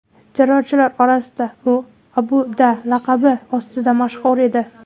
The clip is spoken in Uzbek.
Terrorchilar orasida u Abu Da’ laqabi ostida mashhur edi.